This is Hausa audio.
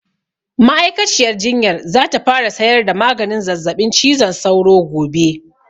Ma'aikaciyar jinyar za ta fara sayar da maganin zazzaɓin cizon sauro gobe